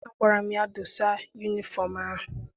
Agwara m ya, dosa yunifọm ahụ!